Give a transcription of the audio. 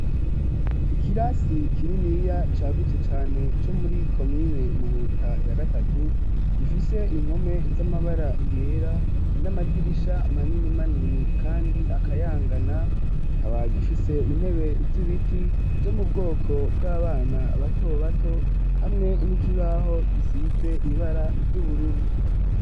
Ikirasi kiriniya cagutse cane co muri komine muhuta ya gatatu gifise impome z'amabara iyera n'amadirisha manini manini, kandi akayangana ikaba gifise intebe z'ibiti zo mu bwoko bw'abana batobato hamwe nikibaho gisize ibara ry'ubururu.